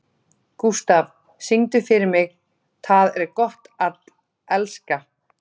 Gústaf, syngdu fyrir mig „Tað er gott at elska“.